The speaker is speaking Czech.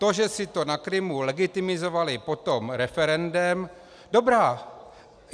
To, že si to na Krymu legitimizovali potom referendem, dobrá.